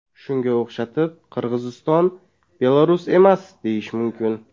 Shunga o‘xshatib, Qirg‘iziston Belarus emas, deyishim mumkin.